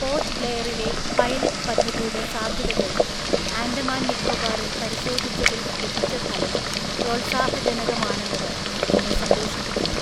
Port ബ്ലെയറിലെ pilot പദ്ധതിയുടെ സാധ്യതകള് ആന്ഡമാന് നിക്കോബാറില്‍ പരിശോധിച്ചതില് ലഭിച്ച ഫലം പ്രോല്‍സാഹജനകമാണെന്നത് എന്നെ സന്തോഷിപ്പിക്കുന്നു.